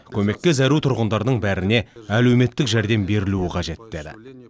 көмекке зәру тұрғындардың бәріне әлеуметтік жәрдем берілуі қажет деді